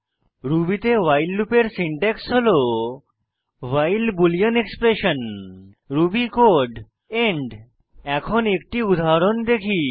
Ruby তে while লুপের syntax হল while boolean expression Ruby code end এখন একটি উদাহরণ দেখি